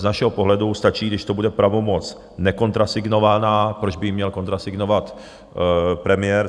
Z našeho pohledu stačí, když to bude pravomoc nekontrasignovaná - proč by ji měl kontrasignovat premiér?